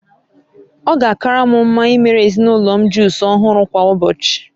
Ọ ga-akara m mma imere ezinụlọ m jusụ ọhụrụ kwa ụbọchị